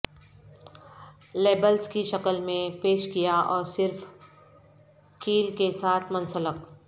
labels کی شکل میں پیش کیا اور صرف کیل کے ساتھ منسلک